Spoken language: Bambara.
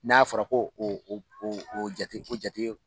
N'a fɔra ko o o jate o jate